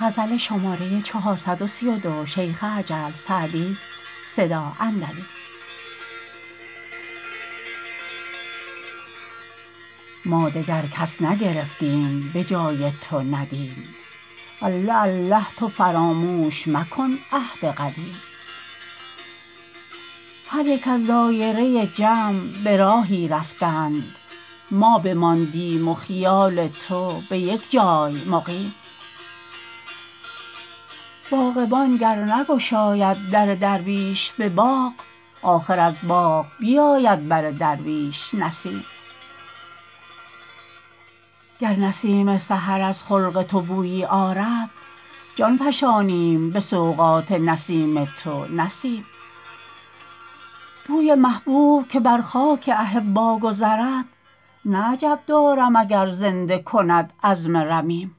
ما دگر کس نگرفتیم به جای تو ندیم الله الله تو فراموش مکن عهد قدیم هر یک از دایره جمع به راهی رفتند ما بماندیم و خیال تو به یک جای مقیم باغبان گر نگشاید در درویش به باغ آخر از باغ بیاید بر درویش نسیم گر نسیم سحر از خلق تو بویی آرد جان فشانیم به سوغات نسیم تو نه سیم بوی محبوب که بر خاک احبا گذرد نه عجب دارم اگر زنده کند عظم رمیم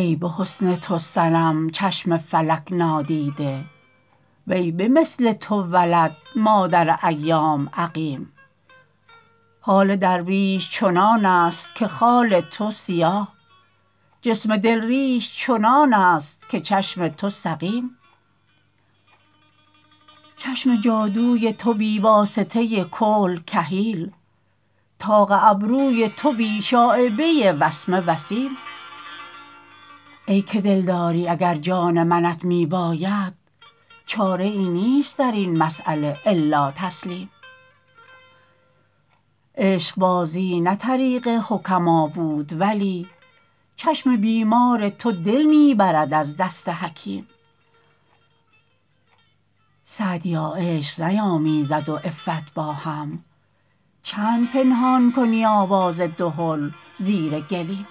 ای به حسن تو صنم چشم فلک نادیده وی به مثل تو ولد مادر ایام عقیم حال درویش چنان است که خال تو سیاه جسم دل ریش چنان است که چشم تو سقیم چشم جادوی تو بی واسطه کحل کحیل طاق ابروی تو بی شایبه وسمه وسیم ای که دلداری اگر جان منت می باید چاره ای نیست در این مسأله الا تسلیم عشقبازی نه طریق حکما بود ولی چشم بیمار تو دل می برد از دست حکیم سعدیا عشق نیامیزد و عفت با هم چند پنهان کنی آواز دهل زیر گلیم